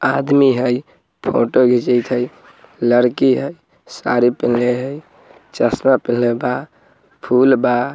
--आदमी है फोटो खींच कर है लड़की है सारे है चसमा पेलेस बा फूल बा।